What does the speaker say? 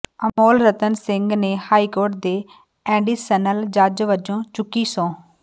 ਅਮੋਲ ਰਤਨ ਸਿੰਘ ਨੇ ਹਾਈਕੋਰਟ ਦੇ ਐਡੀਸ਼ਨਲ ਜੱਜ ਵਜੋਂ ਚੁੱਕੀ ਸਹੁੰ